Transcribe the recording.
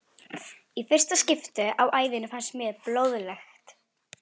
Í fyrsta skipti á ævinni fannst mér blóðlykt góð.